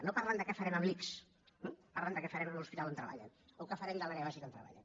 no parlen de què farem amb l’ics eh parlen de què farem amb l’hospital on treballen o què farem a l’àrea bàsica on treballen